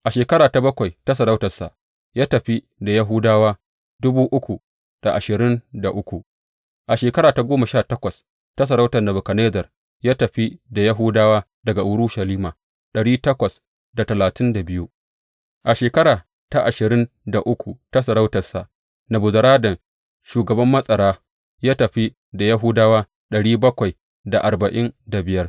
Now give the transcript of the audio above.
A shekara ta bakwai ta sarautarsa, ya tafi da Yahudawa a shekara ta goma sha takwas ta sarautar Nebukadnezzar, ya tafi da Yahudawa daga Urushalima a shekara ta ashirin da uku ta sarautarsa, Nebuzaradan shugaban matsara ya tafi da Yahudawa